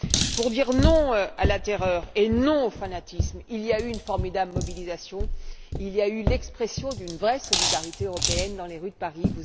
Pour dire non à la terreur et au fanatisme, il y a eu une formidable mobilisation, il y a eu l'expression d'une vraie solidarité européenne dans les rues de Paris.